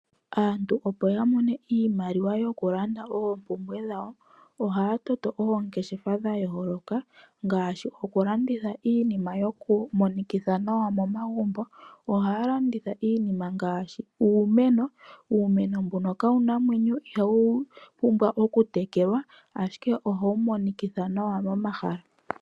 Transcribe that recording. Aantu opo ya mone iimaliwa yokulanda oompumbwe dhawo ohaya toto oongeshefa dha yooloka ngaashi okulanditha iinima yokumonikitha nawa momagumbo. Ohaya landitha iinima ngaashi uumeno. Uumeno mbuno kawuna omwenyo ihawu pumbwa okutekelwa ashike ohawu monikitha nawa momahala.